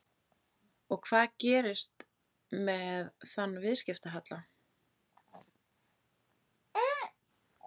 Og hvað gerist með þann viðskiptahalla?